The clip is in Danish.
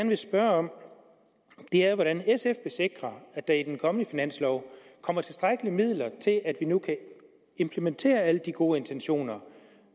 vil spørge om er hvordan sf vil sikre at der i den kommende finanslov kommer tilstrækkelige midler til at vi nu kan implementere alle de gode intentioner